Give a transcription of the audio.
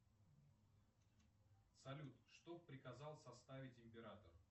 салют что приказал составить император